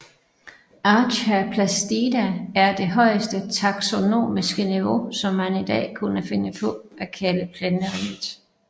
Archaeplastida er det højeste taksonomiske niveau som man i dag kunne finde på at kalde Planteriget